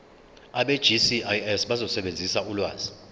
abegcis bazosebenzisa ulwazi